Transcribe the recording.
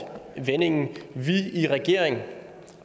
vendingen vi i regeringen